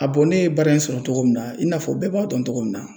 ne ye baara in sɔrɔ cogo min na, i n'a fɔ bɛɛ b'a dɔn cogo min na